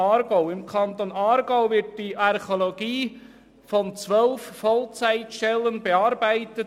Im Kanton Aargau wird die Archäologie von zwölf Vollzeitstellen bearbeitet.